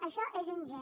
això és ingent